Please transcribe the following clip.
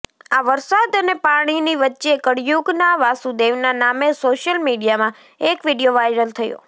આ વરસાદ અને પાણીની વચ્ચે કળયુગના વાસુદેવના નામે સોશિયલ મીડિયામાં એક વીડિયો વાયરલ થયો